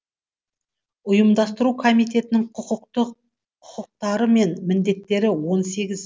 ұйымдастыру комитетінің құқықтары мен міндеттері он сегіз